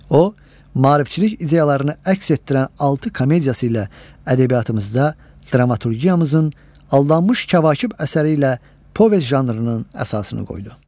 O, maarifçilik ideyalarını əks etdirən altı komediyası ilə ədəbiyyatımızda dramaturgiyamızın Aldanmış Kəvakib əsəri ilə povest janrının əsasını qoydu.